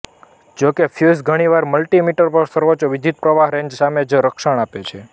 જો કે ફ્યુઝ ઘણીવાર મલ્ટિમીટર પર સર્વોચ્ચ વિદ્યુતપ્રવાહ રેન્જ સામે જ રક્ષણ આપે છે